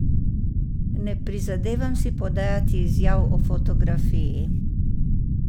Ne prizadevam si podajati izjav o fotografiji.